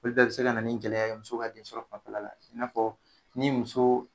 Olu bɛ se ka na ni gɛlɛya ye muso ka den sɔrɔ fanfɛla la, i n'a fɔ ni muso